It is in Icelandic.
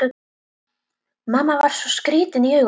Mamma var svo skrýtin í augunum.